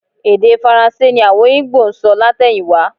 Èdè Faransé ni àwọn Ìgbò ń sọ látẹ̀yìnwá